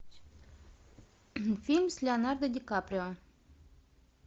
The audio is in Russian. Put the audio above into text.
фильм с леонардо ди каприо